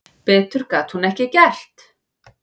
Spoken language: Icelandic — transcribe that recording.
Betur gat hún ekki gert.